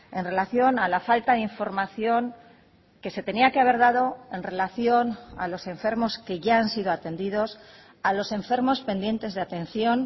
en relación a la falta de información que se tenía que haber dado en relación a los enfermos que ya han sido atendidos a los enfermos pendientes de atención